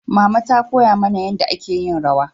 mama ta koya mana yanda a ke yin rawa